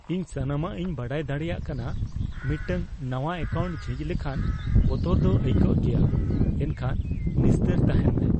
ᱤᱧ ᱥᱟᱱᱟᱢᱟᱜ ᱤᱧ ᱵᱟᱰᱟᱭ ᱫᱟᱲᱮᱭᱟᱜ ᱠᱟᱱᱟ ᱾ ᱢᱤᱫᱴᱟᱝ ᱱᱟᱶᱟ ᱮᱠᱟᱣᱩᱱᱴ ᱡᱷᱤᱡ ᱞᱮᱠᱷᱟᱱ ᱵᱚᱛᱚᱨ ᱫᱚ ᱟᱹᱭᱠᱟᱹᱜ ᱜᱮᱭᱟ, ᱮᱱᱠᱷᱟᱱ ᱱᱤᱥᱛᱟᱹᱨ ᱛᱟᱦᱮᱱ ᱢᱮ ᱾